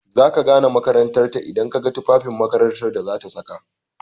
Za ka gane makarantar ta idan ka ga tufafin makarantar da zata saka.